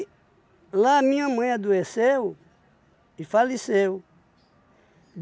E lá minha mãe adoeceu e faleceu.